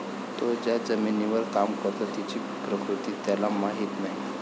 तो ज्या जमिनीवर काम करतो, तिची प्रकृती त्याला माहित नाही.